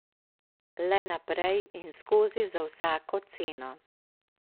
Le naprej in skozi za vsako ceno.